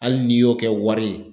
Hali n'i y'o kɛ wari ye